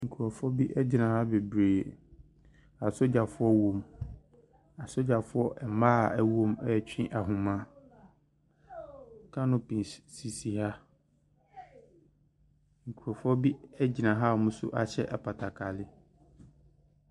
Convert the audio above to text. Nkorɔfo bi ɛgyina ha bebree. Asogyafoɔ wɔm. Asogyafoɔ ɛmaa ɛwɔm ɛɛtwe ahoma. Kanopis sisi ha. Nkorɔfoɔ bi so ɛgyina a ɔm'ahyɛ apatakali.